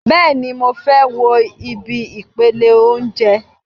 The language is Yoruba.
Bẹ́ẹ̀ni, mo fẹ́ wo ibi ìpele óúnjẹ